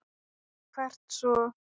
Og hvert svo?